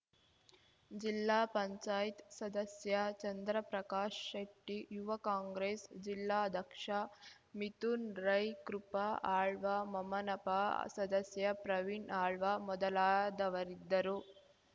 ಜಿಲ್ಲಾ ಪಂಚಾಯತ್ ಸದಸ್ಯ ಚಂದ್ರಪ್ರಕಾಶ್ ಶೆಟ್ಟಿ ಯುವ ಕಾಂಗ್ರೆಸ್ ಜಿಲ್ಲಾದಕ್ಷ ಮಿಥುನ್ ರೈ ಕೃಪಾ ಆಳ್ವ ಮಮನಪಾ ಸದಸ್ಯ ಪ್ರವೀಣ್ ಆಳ್ವ ಮೊದಲಾದವರಿದ್ದರು